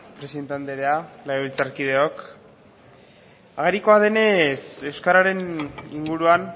presidente andrea legebiltzarkideok agerikoa denez euskararen inguruan